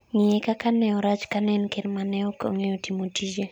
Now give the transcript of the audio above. ng'iye kaka ne orach, kane en ker ma ok ong'eyo timo tije